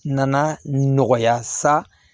Na na nɔgɔya sa